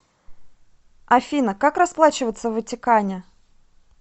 афина как расплачиваться в ватикане